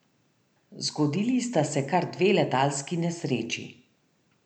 Zgodili sta se kar dve letalski nesreči.